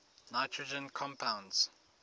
nitrogen compounds